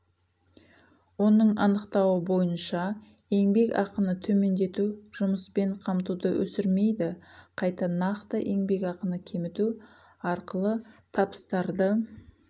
оның анықтауы бойынша еңбек ақыны төмендету жұмыспен қамтуды өсірмейді қайта нақты еңбек ақыны кеміту арқылы табыстарды